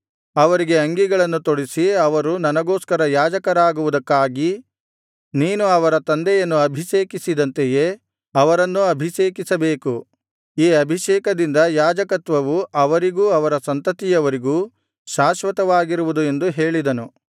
ಅವರಿಗೆ ಅಂಗಿಗಳನ್ನು ತೊಡಿಸಿ ಅವರು ನನಗೋಸ್ಕರ ಯಾಜಕರಾಗುವುದಕ್ಕಾಗಿ ನೀನು ಅವರ ತಂದೆಯನ್ನು ಅಭಿಷೇಕಿಸಿದಂತೆಯೇ ಅವರನ್ನೂ ಅಭಿಷೇಕಿಸಬೇಕು ಈ ಅಭಿಷೇಕದಿಂದ ಯಾಜಕತ್ವವು ಅವರಿಗೂ ಅವರ ಸಂತತಿಯವರಿಗೂ ಶಾಶ್ವತವಾಗಿರುವುದು ಎಂದು ಹೇಳಿದನು